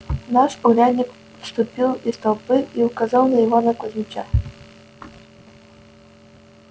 наш урядник вступил из толпы и указал на ивана кузмича